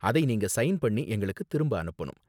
அதை நீங்க சைன் பண்ணி எங்களுக்கு திரும்ப அனுப்பனும்.